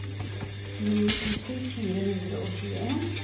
tjueni tusen fire hundre og tjueen